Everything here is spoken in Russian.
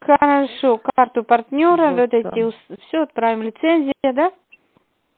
аа